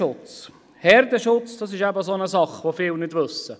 Zum Herdenschutz: Das ist eine Sache, die viele nicht wissen.